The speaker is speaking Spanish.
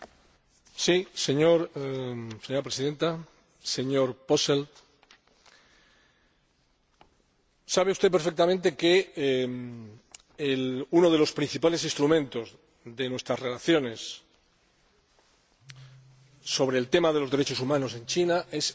Señora Presidenta, señor Posselt, sabe usted perfectamente que uno de los principales instrumentos de nuestras relaciones sobre el tema de los derechos humanos en China es el Diálogo